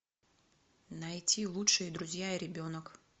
найти лучшие друзья и ребенок